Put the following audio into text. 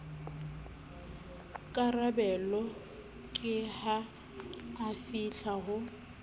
karabelo ke ha afihla ho